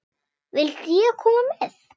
Vildi ég koma með?